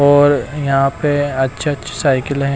और यहां पे अच्छे-अच्छे साइकिल है।